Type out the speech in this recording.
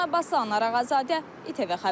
Dema Abbas Ağa zadə İTV xəbər.